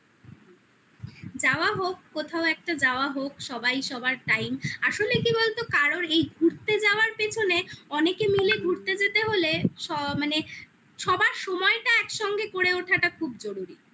হুম যাওয়া হোক একটা যাওয়া হোক সবাই সবার time আসলে কি বলতো কারোর এই ঘুরতে যাওয়ার পেছনে অনেকে মিলে ঘুরতে যেতে হলে মানে সবার সময়টা একসঙ্গে করে ওঠাটা খুব জরুরি